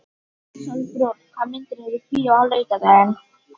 Sólbrún, hvaða myndir eru í bíó á laugardaginn?